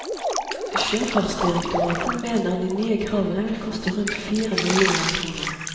Sjøfartsdirektoratet mener de nye kravene vil koste rundt fire millioner kroner.